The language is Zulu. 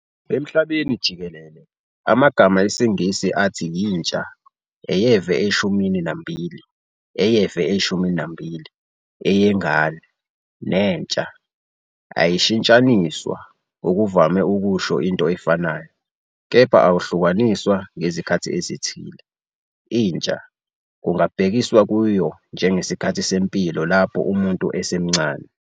Emhlabeni jikelele, amagama esiNgisi "athi yintsha", "eyeve eshumini nambili", "eyeve eshumini nambili", "eyengane", "nentsha" ayashintshaniswa, okuvame ukusho into efanayo, kepha ahlukaniswa ngezikhathi ezithile."Intsha" kungabhekiswa kuyo njengesikhathi sempilo lapho umuntu esemncane.